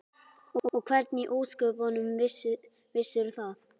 Og hvernig í ósköpunum vissirðu það?